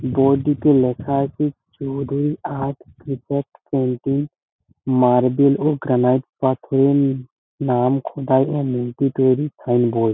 বোর্ডটিতে লেখা আছে Chowdhury art painting marble ও গ্রানাইট পাথর নাম খোদাই ও মূর্তি তৈরির সাইনবোর্ড ।